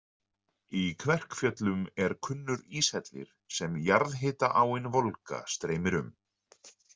Í Kverkfjöllum er kunnur íshellir sem jarðhita-áin Volga streymir um.